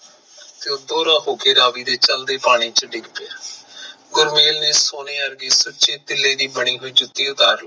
ਤੇ ਉਹ ਦੋਰਾ ਹੋਕੇ ਰਾਵੀ ਦੇ ਚਲਦੇ ਪਾਣੀ ਚ ਡਿਗ ਗਯਾ, ਗੁਰਮਿਲ ਨੇ ਸੋਨੇ ਅਰਗੇ ਸੁਚੇ ਤੀਲੇ ਦੀ ਬਣੀ ਹੋਈ ਜੁਤੀ ਤਾਰ ਲਈ